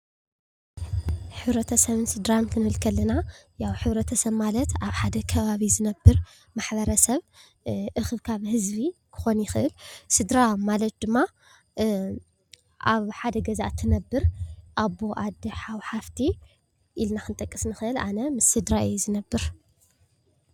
ሕብረተሰብን ስድራ ክንብል ከለና ያው ሕብረተሰብ ማለት ኣብ ሓደ ከባቢ ዝነበር ማሕበረሰብ እክብካብ ህዝቢ ክኾን ይኽእል ስድራን ማለት ድማ ኣብ ሓደ ገዛ እትንበር ኣቦ፣ ኣዶ፣ ሓው፣ ሓፍቲ ኢልና ክንጠቅስ ንኽእል። ኣነ ምስ ስድራይ እየ ዝነበር።